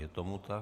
Je tomu tak.